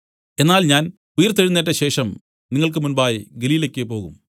എന്നാൽ ഞാൻ ഉയിർത്തെഴുന്നേറ്റശേഷം നിങ്ങൾക്ക് മുമ്പായി ഗലീലയ്ക്കു് പോകും